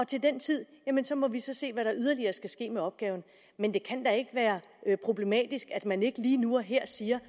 til den tid må vi så se hvad der yderligere skal ske med opgaven men det kan da ikke være problematisk at man ikke lige nu og her siger